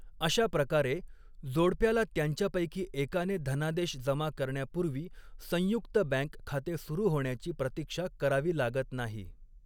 अशा प्रकारे, जोडप्याला त्यांच्यापैकी एकाने धनादेश जमा करण्यापूर्वी संयुक्त बँक खाते सुरू होण्याची प्रतीक्षा करावी लागत नाही.